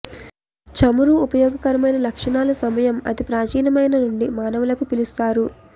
చమురు ఉపయోగకరమైన లక్షణాలు సమయం అతి ప్రాచీనమైన నుండి మానవులకు పిలుస్తారు